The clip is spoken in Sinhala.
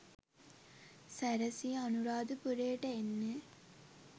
සැරැසී අනුරාධපුරයට එන්නේ